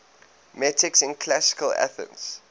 metics in classical athens